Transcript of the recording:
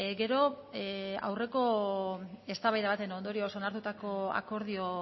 gero aurreko eztabaida baten ondorioz onartutako akordio